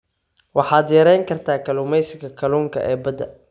waxaad yareyn kartaa kalluumeysiga kalluunka ee badda.